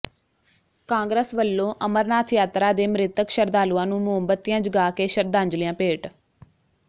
ਕਾਂਗਰਸ ਵੱਲੋਂ ਅਮਰਨਾਥ ਯਾਤਰਾ ਦੇ ਮਿ੍ਤਕ ਸ਼ਰਧਾਲੂਆਂ ਨੂੰ ਮੋਮਬਤੀਆਂ ਜਗਾ ਕੇ ਸ਼ਰਧਾਂਜਲੀਆਂ ਭੇਟ